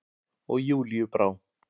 Og Júlíu brá.